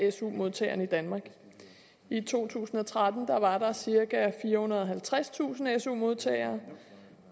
af su modtagerne i danmark i to tusind og tretten var der cirka firehundrede og halvtredstusind su modtagere